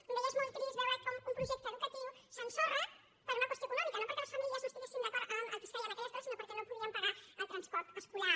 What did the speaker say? com deia és molt trist veure com un projecte educatiu s’ensorra per una qüestió econòmica no perquè les famílies no estiguessin d’acord amb el que es feia en aquella escola sinó perquè no podien pagar el transport escolar